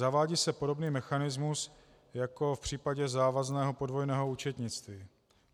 Zavádí se podobný mechanismus jako v případě závazného podvojného účetnictví.